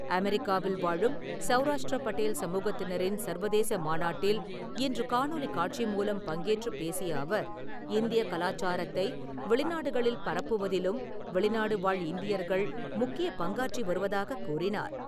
அமெரிக்காவில் வாழும் சவுராஷ்டிர பட்டேல் சமுகத்தினரின் சர்வதேச மாநாட்டில் இன்று காணொலிக் காட்சி மூலம் பங்கேற்றுப் பேசிய அவர் இந்திய கலாச்சாரத்தை வெளிநாடுகளில் பரப்புவதிலும் வெளிநாடு வாழ் இந்தியர்கள் முக்கியப் பங்காற்றி வருவதாக கூறினார்.